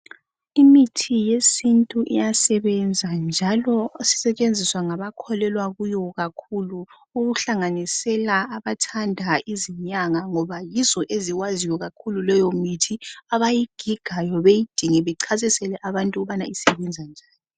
Imithi yesintu iyasebenza njalo esisetshenziswa ngabakholelwa kiyo kakhulu okuhlangenisela abathanda izinyanga ngoba yizo eziwaziyo kakhulu leyo mithi abayigigayo beyidinge bechasisele abantu ukuthi isebenza njani.